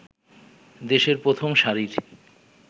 দেশের প্রথম সারির